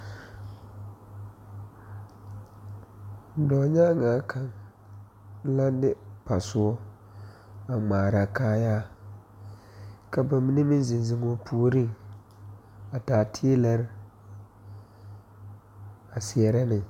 Dɔɔnyaŋne kaŋ la de pasoɔ a ŋmaare kaayaa ka ba mine meŋ zeŋ zeŋ o puori a taa teelɛɛ a seɛre ne.